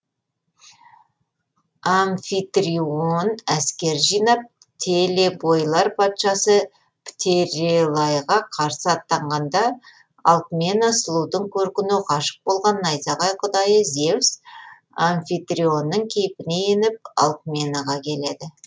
амфитрион әскер жинап телебойлар патшасы птерелайға қарсы аттанғанда алкмена сұлудың көркіне ғашық болған найзағай құдайы зевс амфитрионның кейпіне еніп алкменаға келеді